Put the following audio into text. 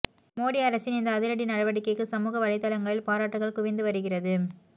மோடி அரசின் இந்த அதிரடி நடவடிக்கைக்கு சமூக வலைத்தளங்களில் பாராட்டுக்கள் குவிந்துவருகிறது